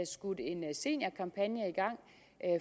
skudt en seniorkampagne i gang